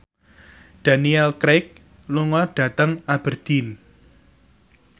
Daniel Craig lunga dhateng Aberdeen